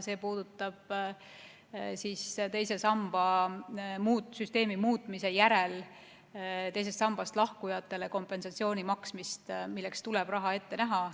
See puudutab teise samba süsteemi muutmise järel teisest sambast lahkujatele kompensatsiooni maksmist, milleks tuleb raha ette näha.